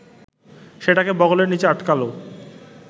সেটাকে বগলের নিচে আটকাল